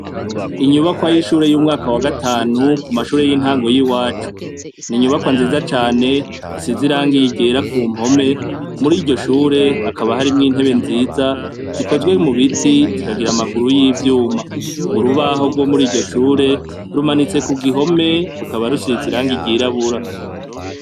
Inyubakwa y'ishure y'umwaka wa gatanu, ku mashure y'intango y'iwacu. Ni inyubakwa nziza cane, isize irangi ryera ku mpome, muri iryo shure, hakaba harimwo intebe nziza, zikozwe mu biti, zikagira amaguru y'ivyuma. Urubaho rwo muri iryo shure, rumanitse ku gihome, rukaba rusize irangi ryirabura.